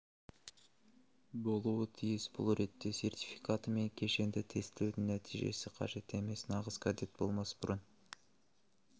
болуы тиіс бұл ретте сертификаты мен кешенді тестілеудің нәтижесі қажет емес нағыз кадет болмас бұрын